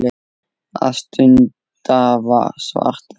Að stunda svarta vinnu.